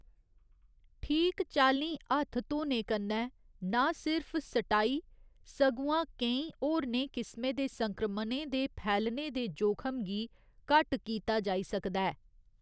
ठीक चाल्लीं हत्थ धोने कन्नै नां लिर्फ स्टाई, सगुआं केईं होरनें किस्में दे संक्रमणें दे फैलने दे जोखम गी घट्ट कीता जाई सकदा ऐ।